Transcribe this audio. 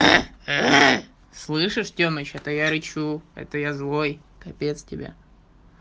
слышишь тёмыч это я рычу это я злой капец тебе